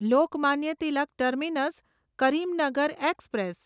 Lokmanya Tilak terminus Karimnagar express